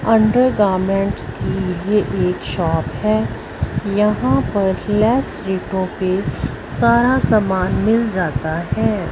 Under garments की ये एक शॉप है यहां पर लेस रेटो पे सारा सामान मिल जाता है।